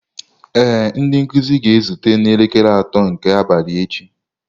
Ee, ndị nkuzi ga-ezute n'elekere atọ nke abalị echi.